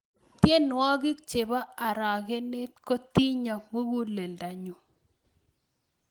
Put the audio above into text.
tienwokik chepo arakenet kotinyo mukuleldo nyuu